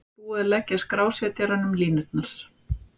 Þar með var búið að leggja skrásetjaranum línurnar.